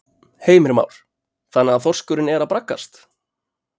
Heimir Már: Þannig að þorskurinn er að braggast?